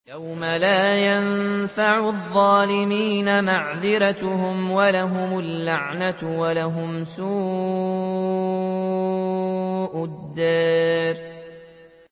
يَوْمَ لَا يَنفَعُ الظَّالِمِينَ مَعْذِرَتُهُمْ ۖ وَلَهُمُ اللَّعْنَةُ وَلَهُمْ سُوءُ الدَّارِ